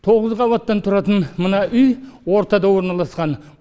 тоғыз қабаттан тұратын мына үй ортада орналасқан